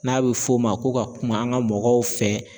N'a bɛ fɔ o ma ko ka kuma an ka mɔgɔw fɛ